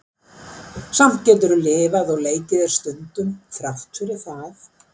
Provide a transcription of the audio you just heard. Samt getur þú lifað og leikið þér stundum, þrátt fyrir það.